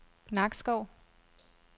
Nakskov